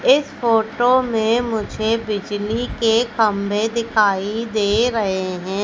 इस फोटो में मुझे बिजली के खंभे दिखाई दे रहे हैं।